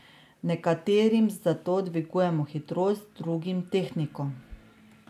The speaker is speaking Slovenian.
Nekaterim zato dvigujemo hitrost, drugim tehniko.